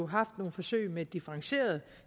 haft nogle forsøg med differentierede